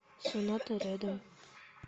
соната рядом